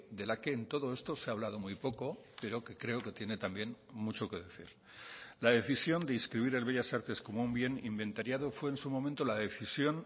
de la que en todo esto se ha hablado muy poco pero que creo que tiene también mucho que decir la decisión de inscribir el bellas artes como un bien inventariado fue en su momento la decisión